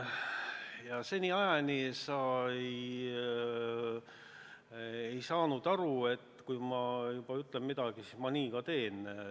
Aga seniajani sa ei ole saanud aru, et kui ma juba ütlen midagi, siis ma nii ka teen.